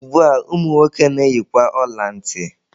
Ugbua, ụmụ nwoke na-eyikwuzi ọla ntị.